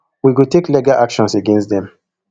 we go take legal action against dem